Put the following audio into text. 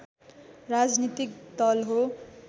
राजनीतिक दल हो